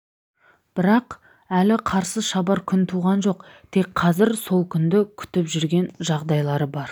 бірақ әлі қарсы шабар күн туған жоқ тек қазір сол күнді күтіп жүрген жағдайлары бар